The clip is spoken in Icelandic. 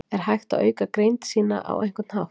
Er hægt að auka greind sína á einhvern hátt?